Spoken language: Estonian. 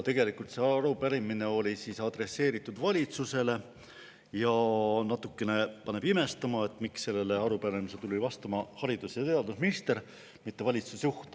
Tegelikult see arupärimine oli adresseeritud valitsusele ja natukene paneb imestama, et sellele tuli vastama haridus- ja teadusminister, mitte valitsusjuht.